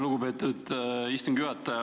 Lugupeetud istungi juhataja!